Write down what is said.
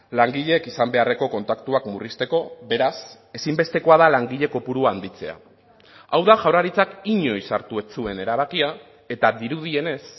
langileek izan beharreko kontaktuak murrizteko beraz ezinbestekoa da langile kopurua handitzea hau da jaurlaritzak inoiz hartu ez zuen erabakia eta dirudienez